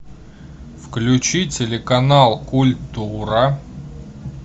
включи телеканал культура